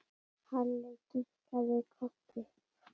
Halli kinkaði kolli.